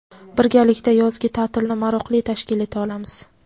Birgalikda yozgi taʼtilni maroqli tashkil eta olamiz.